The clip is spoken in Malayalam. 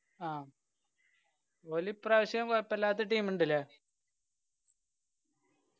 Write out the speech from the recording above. ആ ഓല് ഇപ്രാവശ്യം കൊഴപ്പില്ലാത്ത team ഇണ്ട് ല്ലേ